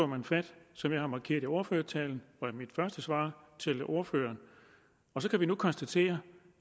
man fat som jeg har markeret det i ordførertalen og i mit første svar til ordføreren og så kan vi nu konstatere